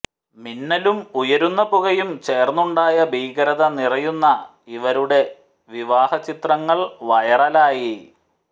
മിന്നലും ഉയരുന്ന പുകയും ചേർന്നുണ്ടായ ഭീകരത നിറയുന്ന ഇവരുടെ വിവാഹചിത്രങ്ങൾ വൈറലായി